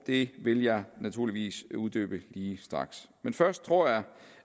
det vil jeg naturligvis uddybe lige straks først tror jeg